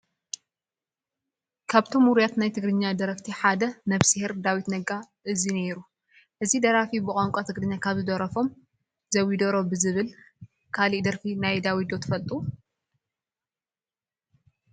ካብቶም ውሩያት ናይ ትግራርኛ ደረፍቲ ሓደ ነ/ር ዳዊት ነጋ እዚ ነይሩ፡፡ እዚ ደራፊ ብቋንቋ ትግርኛ ካብ ዝደረፎም *ዘቢደሮ* ብዝብል፡፡ ካሊእ ደርፊ ናይ ዳዊት ዶ ትፈልጡ?